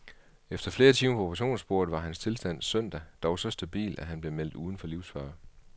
Efter flere timer på operationsbordet var den hans tilstand søndag dog så stabil, at han blev meldt udenfor livsfare.